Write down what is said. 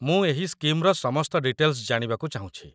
ମୁଁ ଏହି ସ୍କିମ୍‌ର ସମସ୍ତ ଡିଟେଲ୍‌ସ ଜାଣିବାକୁ ଚାହୁଁଛି